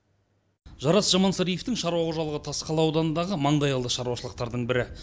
жарас жамансариевтің шаруа қожалығы тасқала ауданындағы маңдайалды шаруашылықтардың бірі